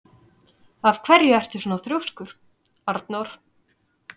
Af hverju ertu svona þrjóskur, Anor?